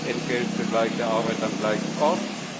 Gleiches Entgelt für gleiche Arbeit am gleichen Ort.